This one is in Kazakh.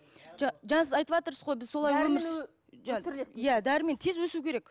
жаз айтыватырсыз ғой біз солай өмір иә дәрімен тез өсуі керек